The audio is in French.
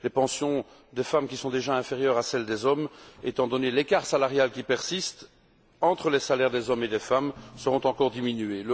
Les pensions des femmes, qui sont déjà inférieures à celles des hommes, étant donné l'écart salarial qui persiste entre les salaires des hommes et ceux des femmes, seront encore diminuées.